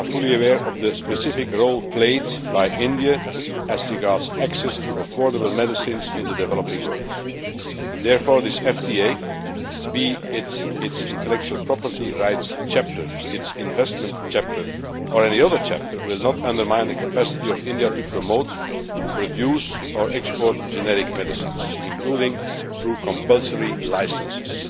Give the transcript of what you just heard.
We are fully aware of the specific role played by India as regards access to affordable medicines in the developing world. Therefore, this FTA whether its intellectual property rights chapter, its investment chapter or any other chapter will not undermine the capacity of India to promote, produce or export generic medicines, including through compulsory licences.